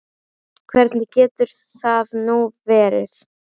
Hvernig getur það nú verið?